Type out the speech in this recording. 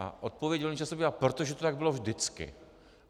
A odpověď velmi často bývá: Protože to tak bylo vždycky.